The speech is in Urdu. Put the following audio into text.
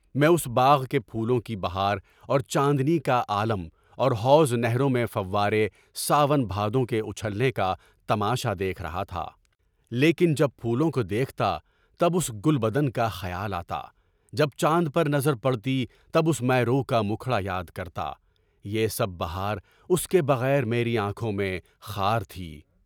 میں اُس باغ کے پھولوں کی بہار اور چاندنی کا عالم اور حوض و نھروں میں فوارے، ساون بھادوں کے اُچھلنے کا تماشا دیکھ رہا تھا، لیکن جب پھولوں کو دیکھتا تب اُس گل بدن کا خیال آتا، جب جاندن پر نظر پڑتی تب اُس مہرو کا مکھڑا یاد کرتا، یہ سب بہار اُس کے بغیر میری آنکھوں میں خار تھی۔